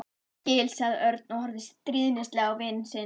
Ég skil sagði Örn og horfði stríðnislega á vin sinn.